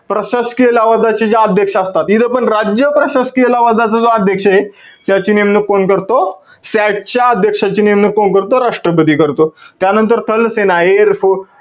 प्रशासकीय लवाज्याचे जे अध्यक्ष असतात. इथं पण राज्य प्रशासकीय लवजाचा जो अध्यक्षय, त्याची नेमणुक कोण करतो? SAT च्या अध्यक्षाची नेमणूक कोण करतो? राष्ट्रपती करतो. त्यानंतर स्थल सेना, airforce,